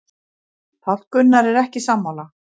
Páll Gunnar er ekki sammála.